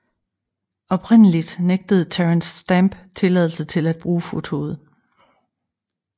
Oprindeligt nægtede Terence Stamp tilladelse til at bruge fotoet